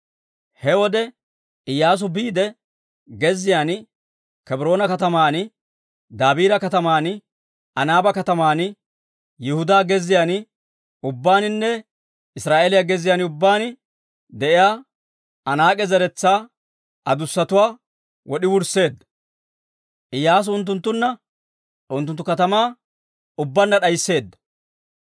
He wode Iyyaasu biide gezziyaan, Kebroona kataman, Dabiira kataman, Anaaba kataman, Yihudaa gezziyaan ubbaaninne Israa'eeliyaa gezziyaan ubbaan de'iyaa Anaak'e zeretsaa adussatuwaa wod'i wursseedda. Iyyaasu unttunttanne unttunttu katamaa ubbaanna d'aysseedda.